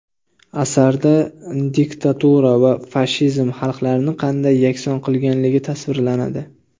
Asarda diktatura va fashizm xalqlarni qanday yakson qilganligi tasvirlanadi.